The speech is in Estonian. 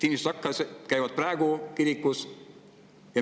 Inimesed käivad praegu ka kirikus.